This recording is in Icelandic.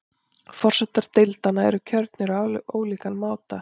Forsetar deildanna eru kjörnir á ólíkan máta.